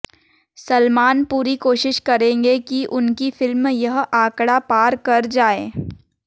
सलमान पूरी कोशिश करेंगे कि उनकी फिल्म यह आंकड़ा पार कर जाए